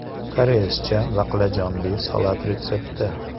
Koreyscha baqlajonli salat retsepti.